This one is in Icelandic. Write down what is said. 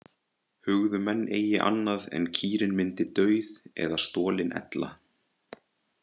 Hugðu menn eigi annað en kýrin myndi dauð eða stolin ella.